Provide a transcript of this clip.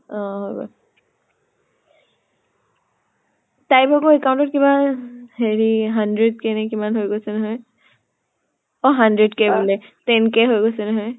অ হৈ গল। তাইৰ ভাগৰ account ত কিবা আ হেৰি hundred k নে কিমান হৈ গৈছে নহয়। অ hundred k বুলে, ten k হৈ গৈছে নহয়।